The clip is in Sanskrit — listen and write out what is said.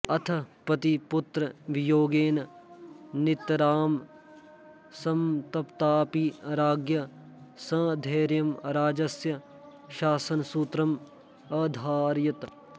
अथ पतिपुत्रवियोगेन नितरां संतप्ताऽपि राज्ञी सधैर्यं राज्यस्य शासनसूत्रम् अधारयत्